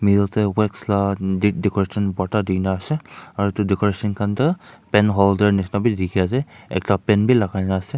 middle te wax la di decoration bhorta dikhina ase aro etu decoration khan toh pen holder nishina bi dikhi ase ekta pen bi lagai na ase.